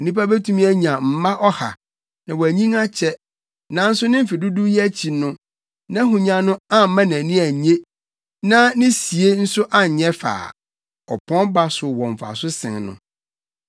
Onipa betumi anya mma ɔha na wanyin akyɛ; nanso ne mfe dodow yi akyi no, nʼahonya no amma nʼani annye na ne sie nso anyɛ fɛ a, ɔpɔn ba so wɔ mfaso sen no.